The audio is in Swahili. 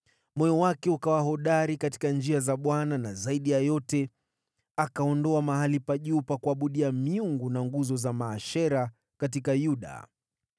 Moyo wake ukawa hodari katika njia za Bwana na zaidi ya yote, akaondoa mahali pa juu pa kuabudia miungu na nguzo za Maashera katika Yuda.